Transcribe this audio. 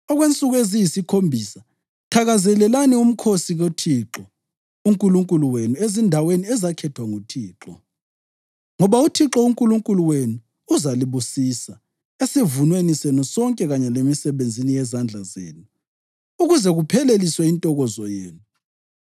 Okwensuku eziyisikhombisa thakazelelani umkhosi kuThixo uNkulunkulu wenu ezindaweni ezakhethwa nguThixo. Ngoba uThixo uNkulunkulu wenu uzalibusisa esivunweni senu sonke kanye lemisebenzini yezandla zenu, ukuze kupheleliswe intokozo yenu.